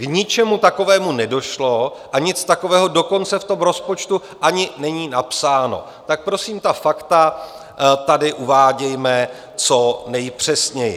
K ničemu takovému nedošlo a nic takového dokonce v tom rozpočtu ani není napsáno, tak prosím ta fakta tady uvádějme co nejpřesněji!